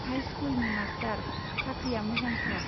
हाइस्कुलनि master, साख्रिया मोजांथार।